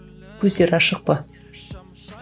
көздері ашық па